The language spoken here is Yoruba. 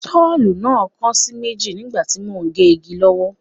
Sọ́ọ̀ náà kan sí méjì nígbà tí mò ń gé igi lọ́wọ́